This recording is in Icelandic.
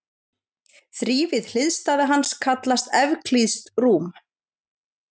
Þrívíð hliðstæða hans kallast evklíðskt rúm.